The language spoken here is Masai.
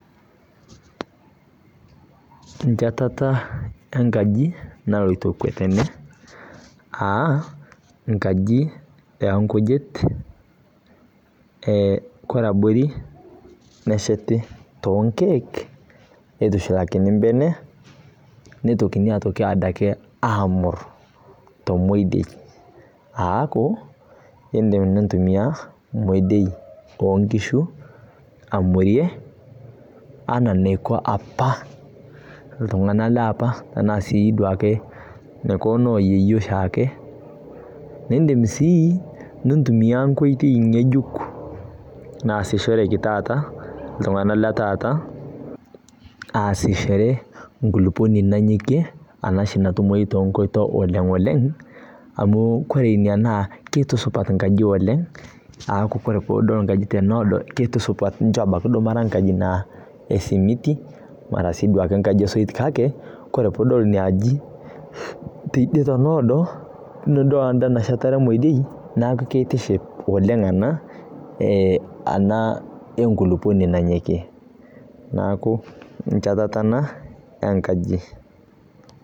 Enchetata enkaji naloito kwe tene, aa nkaji oo nkujit, kore abori nesheti toonkeek, neitushulakini imbenek, neitoki ade ake aamur temodioi, aaku, indim nintumiya emdio oo nkishu, amurie ana eneiko opa iltung'ana le opa, tanaa siiake neiko noo yieyio oshiake. Nindim sii nintumiya enkoitoi ng'ejuk, naasishoreki taata, iltung'ana le taata, aasishore, enkulukuoni nanyokie, ena oshi natumoyu too nkoito oleng' oleng', amu ore ina naa keitusupat inkajijik oleng', aaku ore pee idol enkaji teneado, keitusupat kera abaiki nemee enkaji naa esimiti, mara naa enkaji esoit naa duo kake, kore pee idol inaaji teidie neado, niidol enda nashetare emodioi neaku keitiship oleng' ana ena enkulukuoni nanyoikie, neaku nchetata ena enkaji.